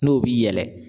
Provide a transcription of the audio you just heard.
N'o b'i yɛlɛ